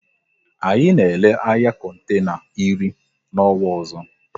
Anyị na ele anya kontena iri n'ọnwa ọzọ